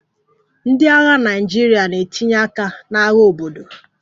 Ndị agha Naịjirịa na-etinye aka n'agha obodo